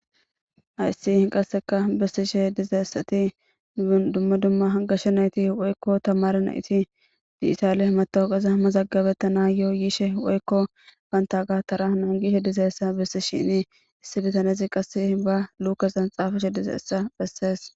Hayssi qasseka bessishe dizayessati dumma dumma hangasha nayti woykko tamara nayti di itaale matooqasa hamma zaggabetta naa yo7o yiishe woykko bantaga tara non gishe dizayessa besi shini issi bitanezi qass ba luukassa xaafashe dizaessa bhessees.